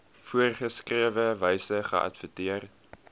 voorgeskrewe wyse geadverteer